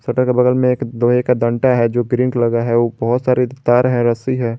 Shutter के बगल में लोहे का दानटा जो प्रिंट लगा है व बहोत सारे तार है रस्सी है।